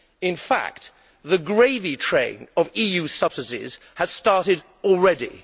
In fact, the gravy train of EU subsidies has started already.